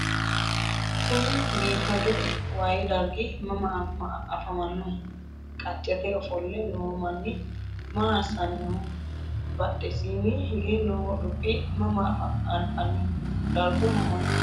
kuni biifadu waye dargi mama afamannoho? qaccete ofolle noo manni maa assanni nooho? badhesiinni hige noo dubbi mama anfanniho? dargu mamaati?